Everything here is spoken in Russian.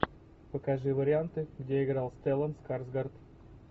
покажи варианты где играл стеллан скарсгард